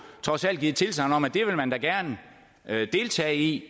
trods alt givet tilsagn om at det vil man da gerne deltage i